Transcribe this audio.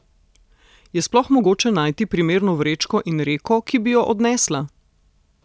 Je sploh mogoče najti primerno vrečko in reko, ki bi jo odnesla?